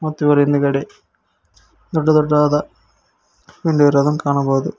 ಮತ್ತು ಇವರ ಹಿಂದುಗಡೆ ದೊಡ್ಡ ದೊಡ್ಡದಾದ ವಿಂಡೋ ಇರೋದನ್ನು ಕಾಣಬಹುದು.